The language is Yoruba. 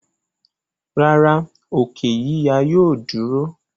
rárá, òkè yíya yóò dúró.